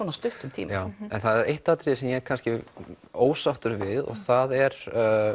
stuttum tíma það er eitt atriði sem ég er ósáttur við það er